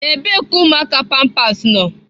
Ebee ka ụmụaka pampers nọ?